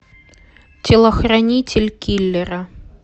телохранитель киллера